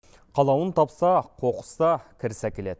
қалауын тапса қоқыс та кіріс әкеледі